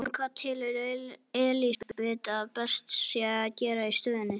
En hvað telur Elísabet að best sé að gera í stöðunni?